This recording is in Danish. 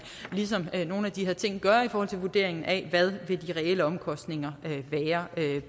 ligesom det nogle af de her ting i vurderingen af hvad de reelle omkostninger vil være